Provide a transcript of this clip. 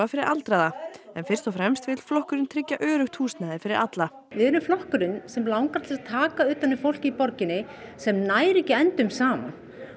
fyrir aldraða en fyrst og fremst vill flokkurinn tryggja öruggt húsnæði fyrir alla við erum flokkurinn sem langar til að taka utan um fólkið í borginni sem nær ekki endum saman